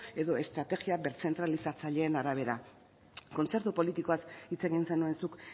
edo estrategia berzentralizatzaileen arabera kontzertu politikoaz hitz egin zenuen zuk